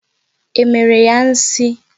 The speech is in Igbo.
E mere ya nsi?